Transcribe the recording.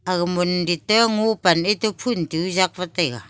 aga mondit te ngo pan etoh phun tuh jak wat taiga.